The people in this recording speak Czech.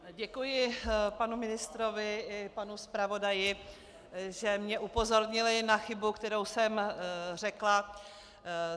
Děkuji panu ministrovi i panu zpravodaji, že mě upozornili na chybu, kterou jsem řekla.